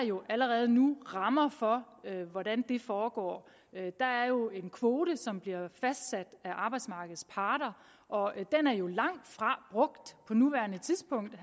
jo allerede nu rammer for hvordan den foregår der er jo en kvote som bliver fastsat af arbejdsmarkedets parter og den er jo langtfra brugt på nuværende tidspunkt vil